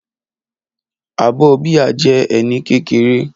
Abọ́ bíà jẹ́ ẹní kékeré